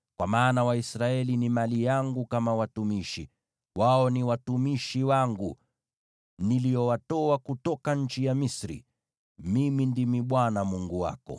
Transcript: kwa maana Waisraeli ni mali yangu kama watumishi. Wao ni watumishi wangu, niliowatoa kutoka nchi ya Misri. Mimi ndimi Bwana Mungu wako.